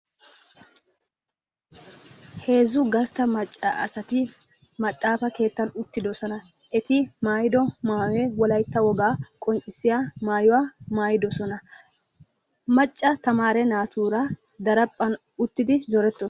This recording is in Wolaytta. Heezzu gastta macca asati maxaafa keettan uttidosona eti maayido maawe wolaytta wogaa qonccissiya maayuwaa maayidosona. macca tamaare naatuura daraphphan uttidi zoretto.